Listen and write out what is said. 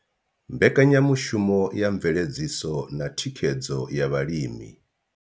Mbekanyamushumo ya mveledziso na thikhedzo ya vhalimi.